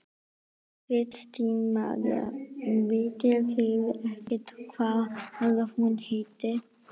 Kristín María: Vitið þið ekkert hvað hún heitir?